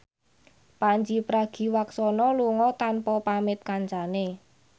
Pandji Pragiwaksono lunga tanpa pamit kancane